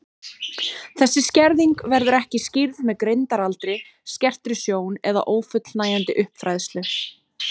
Þessi skerðing verður ekki skýrð með greindaraldri, skertri sjón eða ófullnægjandi uppfræðslu.